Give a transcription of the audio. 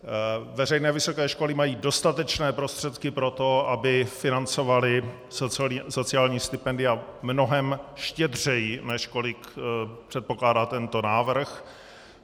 Veřejné vysoké školy mají dostatečné prostředky pro to, aby financovaly sociální stipendia mnohem štědřeji, než kolik předpokládá tento návrh.